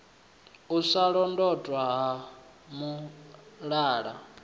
u sa londotwa ha mulala